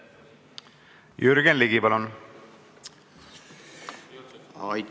Jürgen Ligi, palun!